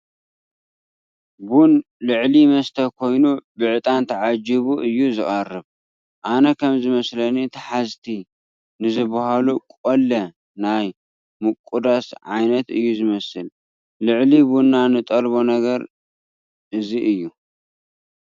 ቡን ልዕሊ መስተ ኮይኑ ብዕጣን ተዓጂቡ እዩ ዝቐርብ፡፡ ኣነ ከምዝመስለኒ ተሓዝቲ ንዝበሃሉ ቆለ ናይ ምቑዳስ ዓይነት እዩ ዝመስል፡፡ ልዕሊ ቡና ንጠልቦ ነገር እዚ እዩ፡፡